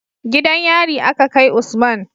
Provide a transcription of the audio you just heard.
Gidan yari a Ka kai Usman